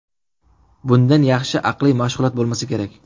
Bundan yaxshi aqliy mashg‘ulot bo‘lmasa kerak.